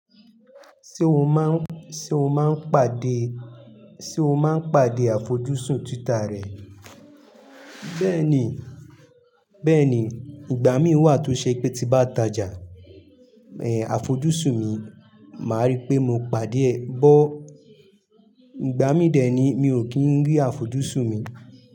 Ṣé o má ń, sé o máa ń pàdé, sé o máa ń pàdé àfojúsùn Twitter rẹ? Bẹ́ẹ̀ni, bẹ́ẹ̀ni ìgbà mí wà tó ṣe pé tí bá tajà, eh àfojúsùn mi, màá rí pé mo pàdé ẹ, bọ̀ ìgbà mí dẹ ẹ ni mi ò kí ń rí àfojúsùn mi.